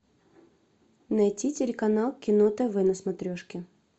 найти телеканал кино тв на смотрешке